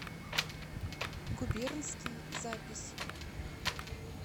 губернский запись